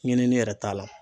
Ɲinini yɛrɛ t'a la.